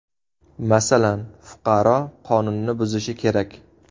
Masalan, fuqaro qonunni buzishi kerak.